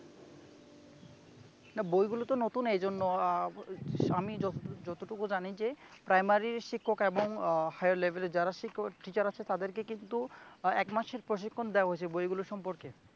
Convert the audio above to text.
বইগুলোতো নতুন এইজন্য আহ আমি যতটুকু জানি যে প্রাইমারি শিক্ষক এবং আহ হাইয়ার লেভেলের যারা শিক্ষক টিচার আছে তাদেরকে কিন্তু এক মাস এর প্রশিক্ষণ দেওয়া হয়েছে বইগুলো সম্পর্কে